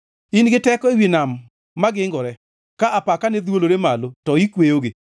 In giteko ewi nam magingore; ka apakane dhwolore malo, to ikweyogi.